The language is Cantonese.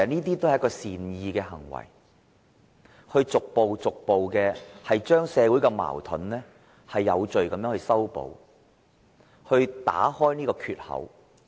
這些也是善意的行為，可以逐步將社會的矛盾有序地化解，打開這個缺口。